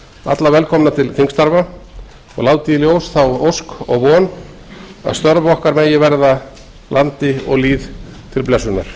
alla velkomna til þingstarfa og læt í ljós þá ósk og von að störf okkar megi verða landi og lýð til blessunar